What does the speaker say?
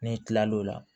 N'i tilal'o la